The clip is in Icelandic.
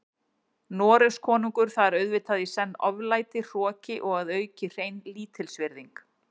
Noregskonungur, það er auðvitað í senn oflæti, hroki og að auki hrein lítilsvirðing.